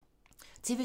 TV 2